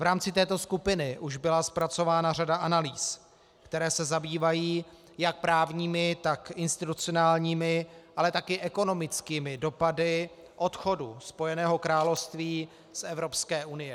V rámci této skupiny už byla zpracována řada analýz, které se zabývají jak právními, tak institucionálními, ale taky ekonomickými dopady odchodu Spojeného království z Evropské unie.